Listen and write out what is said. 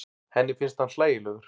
Henni finnst hann hlægilegur.